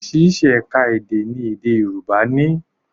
Oríṣi ẹ̀ka èdè ni èdè Yorùbá ní